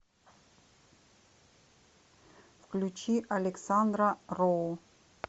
включи александра роу